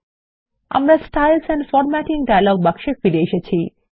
আমরা শৈলী ও বিন্যাস ডায়ালগ বাক্সে ফিরে এসেছি